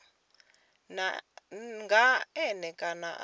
nga n e kana ra